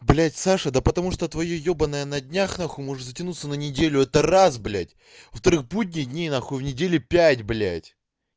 блядь саша да потому что твоё ёбаное на днях нахуй может затянуться на неделю это раз блядь во вторых будних дней в неделе пять блядь